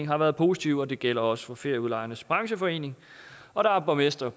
har været positive det gælder også ferieudlejernes brancheforening og borgmestre